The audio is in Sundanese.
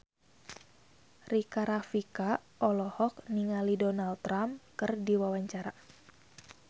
Rika Rafika olohok ningali Donald Trump keur diwawancara